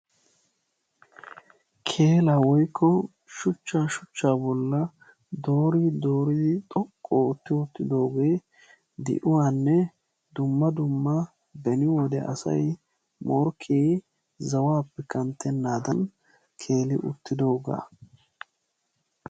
Keelaa woykko shuchchaa shuchchaa bolli dooridi dooidi xoqqu oottidi wottidoogee di"uwaanne dumma dumma beni wode asay morkkee zawaappe kanttenaadan keeli uttidoogaa.